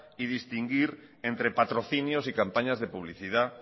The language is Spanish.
y distinguir entre patrocinios y campañas de publicidad